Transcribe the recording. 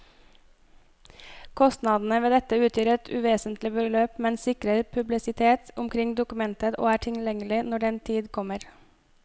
Kostnadene ved dette utgjør et uvesentlig beløp, men sikrer publisitet omkring dokumentet og er tilgjengelig når den tid kommer.